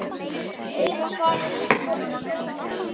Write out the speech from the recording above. Eina svarið sem stóð eftir.